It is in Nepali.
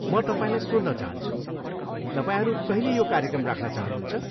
म तपाईँलाई सोध्न चाहन्छु, तपाईँहरू कहिले यो कार्यक्रम राख्न चाहनुहुन्छ?